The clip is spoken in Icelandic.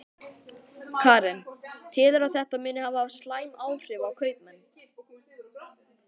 Karen: Telurðu að þetta muni hafa slæm áhrif á kaupmenn?